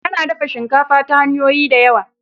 A na dafa shinkafa ta hanyoyi da yawa